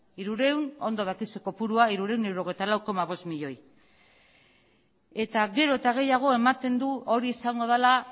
ondo dakizu kopurua hirurehun eta hirurogeita lau koma bost milioi eta gero eta gehiago ematen du hori izango dela